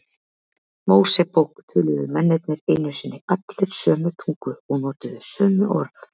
Mósebók töluðu mennirnir einu sinni allir sömu tungu og notuðu sömu orð.